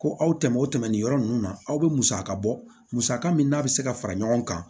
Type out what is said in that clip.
Ko aw tɛmɛn o tɛmɛn nin yɔrɔ ninnu na aw bɛ musaka bɔ musaka min n'a bɛ se ka fara ɲɔgɔn kan